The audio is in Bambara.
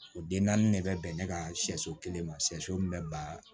O den naani de bɛ bɛn ne ka sɛso kelen ma shɛso min bɛ ban